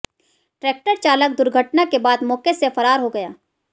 tractor चालक दुर्घटना के बाद मौके से फरार हो गया